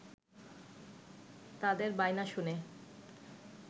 তাদের বায়না শুনে